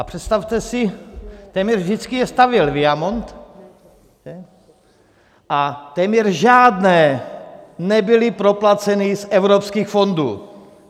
A představte si, téměř vždycky je stavěl Viamont a téměř žádné nebyly proplaceny z evropských fondů.